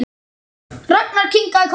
Ragnar kinkaði kolli.